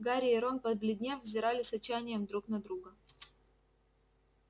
гарри и рон побледнев взирали с отчаянием друг на друга